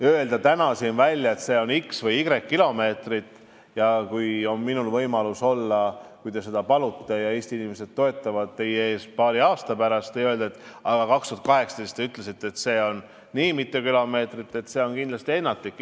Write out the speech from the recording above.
Öelda täna siin välja, et see on x või y kilomeetrit – arvestades, et äkki mul on võimalus olla paari aasta pärast siin teie ees, kui te seda palute ja Eesti inimesed mind toetavad, ja te saate siis öelda, et aga 2018 te ütlesite, et see on nii või nii mitu kilomeetrit, – oleks kindlasti ennatlik.